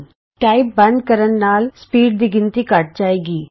ਤੁਸੀਂ ਜਿਵੇਂ ਹੀ ਟਾਈਪ ਕਰਨਾ ਬੰਦ ਕਰਦੇ ਹੋ ਤਾਂ ਸਪੀਡ ਗਿਣਤੀ ਘੱਟ ਜਾਏਗੀ